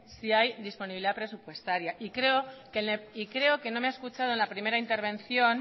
si hay disponibilidad presupuestaria y creo que no me ha escuchado en la primera intervención